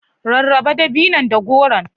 Rarraba dabinon da goron.